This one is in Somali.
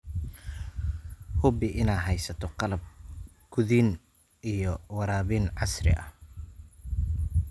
Hubi inaad haysato qalab quudin iyo waraabin casri ah.